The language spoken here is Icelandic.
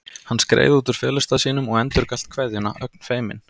Hann skreið út úr felustað sínum og endurgalt kveðjuna, ögn feiminn.